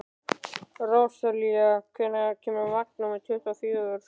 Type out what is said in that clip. Rósalía, hvenær kemur vagn númer tuttugu og fjögur?